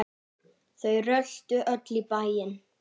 Þau röltu öll í bæinn.